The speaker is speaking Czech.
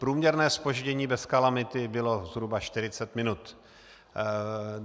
Průměrné zpoždění bez kalamity bylo zhruba 40 minut.